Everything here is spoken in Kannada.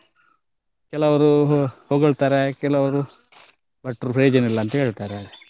ಕೆಲವರು ಹೊಗಳ್ತಾರೆ ಕೆಲವರು ಭಟ್ರು ಪ್ರಯೋಜನ ಇಲ್ಲ ಅಂತ ಹೇಳ್ತಾರೆ.